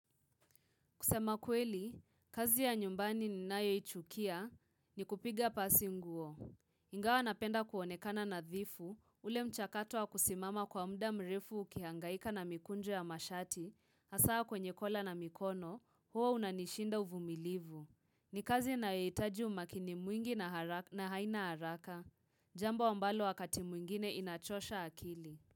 Kusema kweli, kazi ya nyumbani ninayoichukia ni kupiga pasi nguo. Ingawa napenda kuonekana nadhifu, ule mchakato wa kusimama kwa muda mrefu ukihangaika na mikunjo ya mashati, asaa kwenye kola na mikono, huo unanishinda uvumilivu. Ni kazi inayohitaji umakini mwingi na haraka na haina haraka, jambo ambalo wakati mwingine inachosha akili.